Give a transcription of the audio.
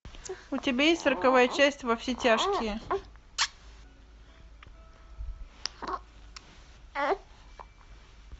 у тебя есть сороковая часть во все тяжкие